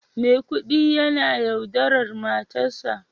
Maikudi yana yaudarar matarsa